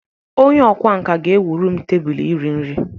Onye ọkwá nkà ga-ewuru m tebụl iri nri